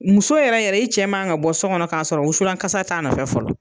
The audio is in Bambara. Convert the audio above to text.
Muso yɛrɛ yɛrɛ i cɛ ma kan ka bɔ so kɔnɔ k'a sɔrɔ wusulan kasa t'a nɔfɛ fɔlɔ.